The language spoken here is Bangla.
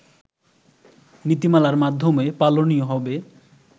নীতিমালার মাধ্যমে পালনীয় হবে